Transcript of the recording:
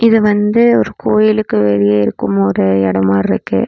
இது வந்து ஒரு கோயிலுக்கு வெளிய இருக்கும் ஒரு எடோ மாருக்கு.